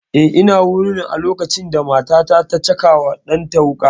Eh ina wurin a lokacin da matar ta caka wa ɗan ta wuƙa